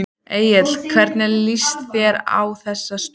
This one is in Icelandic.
Egill hvernig líst þér á þessa stöðu?